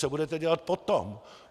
Co budete dělat potom?